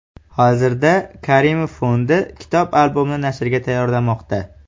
Hozirda Karimov fondi kitob-albomni nashrga tayyorlamoqda.